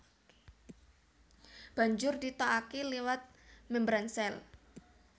Banjur ditokaké liwat mèmbran sèl